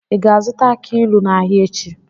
Ị ga-azụta aki ilu n'ahịa echi?